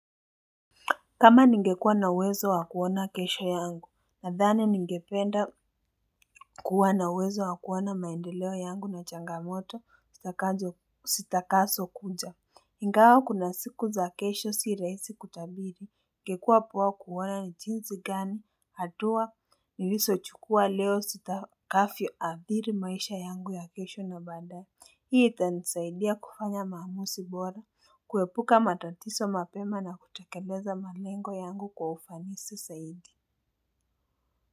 Kama ningekuwa na uwezo wakuona kesho yangu, nadhani ningependa kuwa na uwezo wakuona maendeleo yangu na changamoto zitakazo kuja. Ingawa kuna siku za kesho si rahisi kutabiri. Ingekuwa poa kuona ni jinsi gani hatua nilizochukua leo zitakavyoathiri maisha yangu ya kesho na baadaye hii itanisaidia kufanya maamuzi bora. Kuepuka matatizo mapema na kutekeleza malengo yangu kwa ufanisi zaidi.